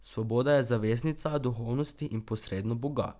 Svoboda je zaveznica duhovnosti in posredno Boga.